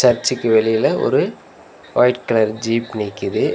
சர்ச்சுக்கு வெளில ஒரு ஒயிட் கலர் ஜீப் நிக்கிது.